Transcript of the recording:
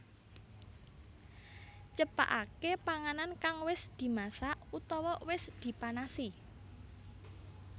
Cepakaké panganan kang wis dimasak utawa wis dipanasi